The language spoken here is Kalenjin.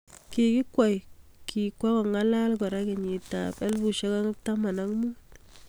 Kikikweii kikwangala kora kenyit ab 2015